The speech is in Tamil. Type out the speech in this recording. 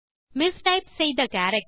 மிஸ்டைப் செய்த கேரக்டர்